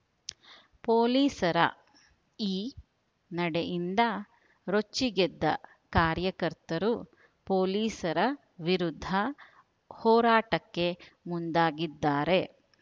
ಪೊಲೀಸರ ಈ ನಡೆಯಿಂದ ರೊಚ್ಚಿಗೆದ್ದ ಕಾರ್ಯಕರ್ತರು ಪೊಲೀಸರ ವಿರುದ್ಧ ಹೋರಾಟಕ್ಕೆ ಮುಂದಾಗಿದ್ದಾರೆ